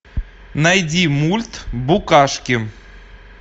найди мульт букашки